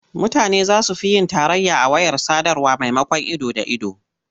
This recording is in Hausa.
Mutane za su fi yin tarayya a wayar sadarwa maimakon ido da ido.